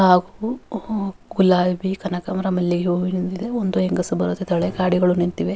ಹಾಗು ಗುಲಾಬಿ ಕನಕಾಂಬರ ಮಲ್ಲಿಗೆ ಹೂ ಒಂದು ಹೆಂಗಸು ಬರುತ್ತಿದ್ದಾಳೆ ಗಾಡಿಗಳು ನಿಂತಿವೆ.